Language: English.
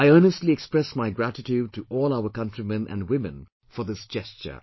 I earnestly express my gratitude to all our countrymen and women for this gesture